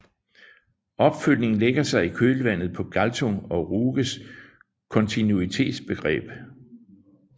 Opfølgning lægger sig i kølvandet på Galtung og Ruges kontinuitetsbegreb